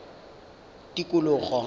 tikologo